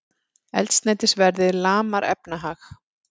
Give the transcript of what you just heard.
Eldsneytisverðið lamar efnahag